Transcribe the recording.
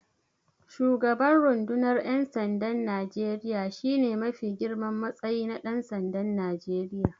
Shugaban rundunar ƴansandan Najeriya shine mafi girman matsayi na Ɗansandan Najeriya.